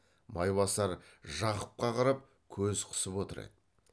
майбасар жақыпқа қарап көз қысып отыр еді